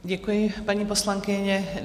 Děkuji, paní poslankyně.